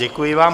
Děkuji vám.